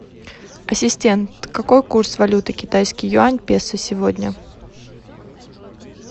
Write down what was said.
ассистент какой курс валюты китайский юань песо сегодня